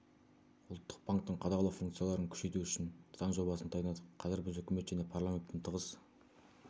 ұлттық банктің қадағалау функцияларын күшейту үшін заң жобасын дайындадық қазір біз үкімет және парламентпен тығыз